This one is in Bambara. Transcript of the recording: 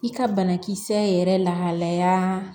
I ka banakisɛ yɛrɛ lahalaya